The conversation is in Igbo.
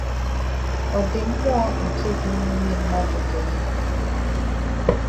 Ọ̀ dí̄ mmūọ̀ nkè̄ dí̄ n’ímè̄ mmádụ̀ dí̄ ndú̄?